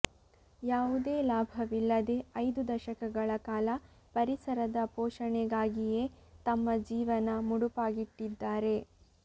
ಯಾವುದೇ ಲಾಭವಿಲ್ಲದೆ ಐದು ದಶಕಗಳ ಕಾಲ ಪರಿಸರದ ಪೋಷಣೆಗಾಗಿಯೇ ತಮ್ಮ ಜೀವನ ಮುಡುಪಾಗಿಟ್ಟಿದ್ದಾರೆ